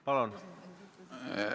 Palun!